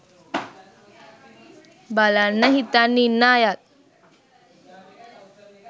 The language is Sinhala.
බලන්න හිතන් ඉන්න අයත්